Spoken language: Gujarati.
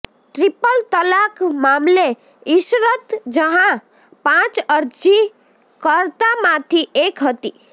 ટ્રિપલ તલાક મામલે ઇશરત જહાં પાંચ અરજીકર્તામાંથી એક હતી